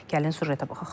Gəlin süjetə baxaq.